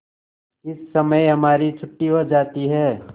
इस समय हमारी छुट्टी हो जाती है